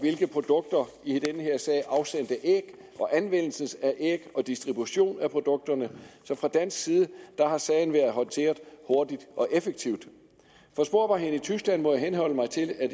produkter i den her sag afsendte æg og anvendelsen af æg og distribution af produkterne så fra dansk side har sagen været håndteret hurtigt og effektivt for sporbarheden i tyskland må jeg henholde mig til at